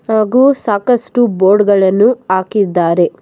ಹಾಗು ಸಾಕಷ್ಟು ಬೋರ್ಡ್ ಗಳನ್ನು ಹಾಕಿದ್ದಾರೆ.